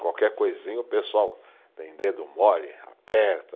Qualquer coisinha o pessoal tem dedo mole, aperta.